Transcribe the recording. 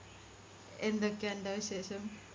എന്തൊക്കെയാ അന്റെ വിശേഷം